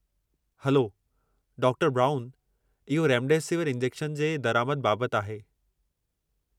Hello, डॉ. Brown इहो remdesivir injection जे दरिआमद बाबति आहे।